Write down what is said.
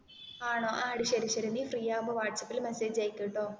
ആണോ ആ എടി ശരി ശരി നീ ഫ്രീ ആകുമ്പോൾ വടസപ്പില് മെസ്സേജ് ആയിക്ക് കേട്ടോ